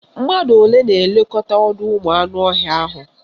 Mmadụ olee na-elekọta ọdọụmụanụọhịa ahụ?